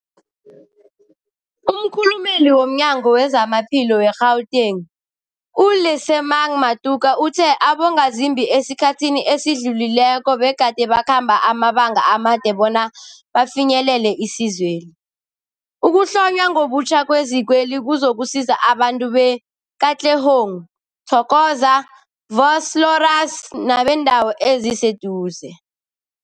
Umkhulumeli womNyango weZamaphilo we-Gauteng, u-Lesemang Matuka uthe abongazimbi esikhathini esidlulileko begade bakhamba amabanga amade bona bafinyelele isizweli. Ukuhlonywa ngobutjha kwezikweli kuzokusiza abantu be-Katlehong, Thokoza, Vosloorus nebeendawo eziseduze.